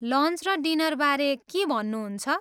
Lunch र डिनरबारे के भन्नुहुन्छ?